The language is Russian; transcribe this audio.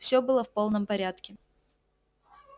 всё было в полном порядке